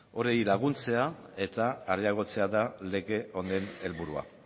horiei laguntzea eta areagotzea da lege honen helburua